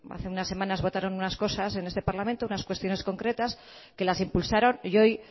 hace unas semanas votaron unas cosas en este parlamento unas cuestiones concretas que las impulsaron y hoy